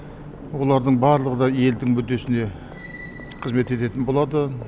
олардың барлығы да елдің мүддесіне қызмет ететін болады